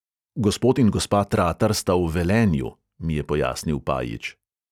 Gospod in gospa tratar sta v velenju," mi je pojasnil pajič.